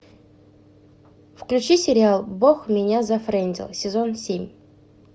включи сериал бог меня зафрендил сезон семь